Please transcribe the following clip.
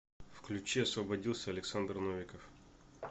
включи освободился александр новиков